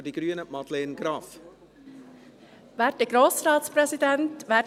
Für die Grünen hat Madeleine Graf das Wort.